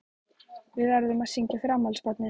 Við verðum að syngja fyrir afmælisbarnið.